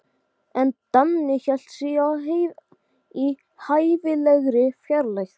Hérna færðu dýran drykk sem gerir þér gott.